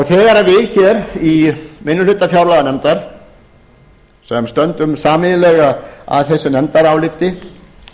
þegar við hér í minnihluta fjárlaganefndar sem stöndum sameiginlega að þessu nefndaráliti